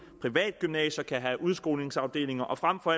private gymnasier kan have udskolingsafdelinger og frem for